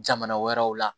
Jamana wɛrɛw la